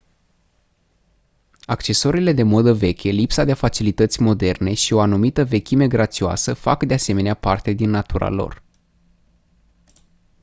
accesoriile de modă veche lipsa de facilități moderne și o anumită vechime grațioasă fac de asemenea parte din natura lor